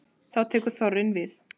Þá tekur þorrinn við.